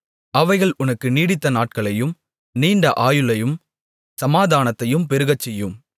அவைகள் உனக்கு நீடித்த நாட்களையும் நீண்ட ஆயுளையும் சமாதானத்தையும் பெருகச்செய்யும்